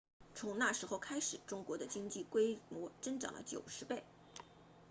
从那时候开始中国的经济规模增长了90倍